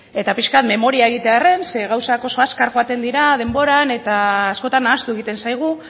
eta pixka bat memoria egitearren zeren gauzak oso azkar joaten dira denboran eta askotan ahaztu egiten zaigu